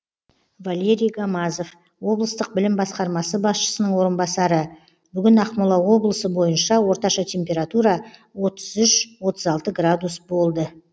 валерий гамазов облыстық білім басқармасы басшысының орынбасары бүгін ақмола облысы бойынша орташа температура отыз үш отыз алты градус болды